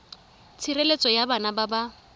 tshireletso ya bana ba ba